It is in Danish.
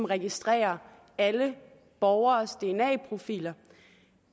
registrere alle borgeres dna profiler